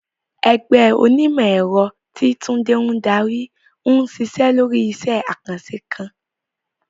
Ẹgbẹ́ onímọ̀-ẹ̀rọ, tí Tunde ń darí, ń ṣiṣẹ́ lórí iṣẹ́ àkànṣe kan.